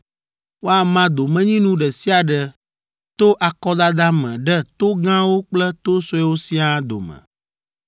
Woama domenyinu ɖe sia ɖe to akɔdada me ɖe to gãwo kple to suewo siaa dome.”